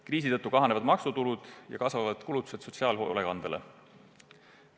Kriisi tõttu kahanevad maksutulud ja kasvavad kulutused sotsiaalhoolekandele.